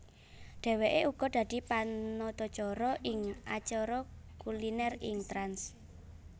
Dheweke uga dadi panatacara ing acara kuliner ing Trans